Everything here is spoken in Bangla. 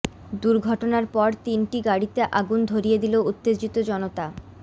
দুর্ঘটনার পর তিনটি গাড়িতে আগুন ধরিয়ে দিল উত্তেজিত জনতা